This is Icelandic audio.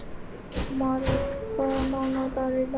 Marít, hvaða mánaðardagur er í dag?